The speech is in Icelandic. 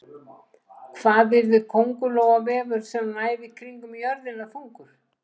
Hvað yrði köngulóarvefur sem næði kringum jörðina þungur?